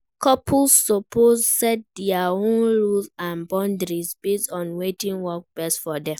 Couples suppose set dia own rules and boundaries base on wetin work best for dem.